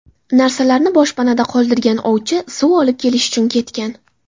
Narsalarni boshpanada qoldirgan ovchi suv olib kelish uchun ketgan.